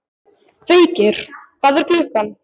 Feykir, hvað er klukkan?